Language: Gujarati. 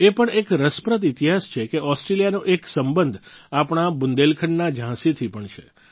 એ પણ એક રસપ્રદ ઈતિહાસ છે કે ઓસ્ટ્રેલિયાનો એક સંબંધ આપણા બુંદેલખંડના ઝાંસી થી પણ છે